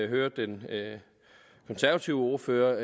hører den konservative ordfører